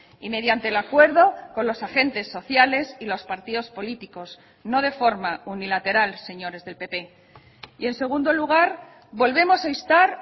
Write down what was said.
y mediante el acuerdo con los agentes sociales y los partidos políticos no de forma unilateral señores del pp y en segundo lugar volvemos a instar